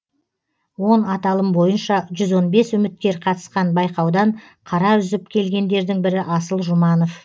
он аталым бойынша жүз он бес үміткер қатысқан байқаудан қара үзіп келгендердің бірі асыл жұманов